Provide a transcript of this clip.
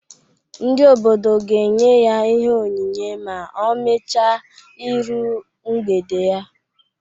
Ndi obodo ga enye ya ihe onyinye ma ọ mecha iru mgbede ya.